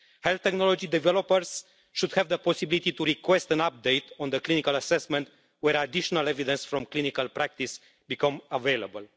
Health technology developers should have the possibility to request an update on the clinical assessment when additional evidence from clinical practice becomes available.